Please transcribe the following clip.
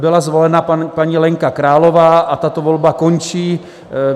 Byla zvolena paní Lenka Králová a tato volba končí.